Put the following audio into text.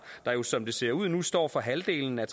der jo som det ser ud nu står for halvdelen af